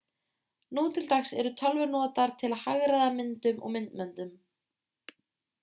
nú til dags eru tölvur notaðar til að hagræða myndum og myndböndum